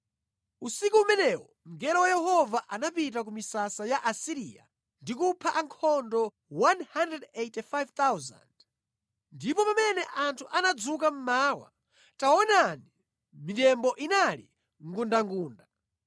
Usiku umenewo mngelo wa Yehova anapita ku misasa ya ku Asiriya ndi kupha ankhondo 185,000. Ndipo pamene anthu anadzuka mmawa, taonani, mitembo inali ngundangunda!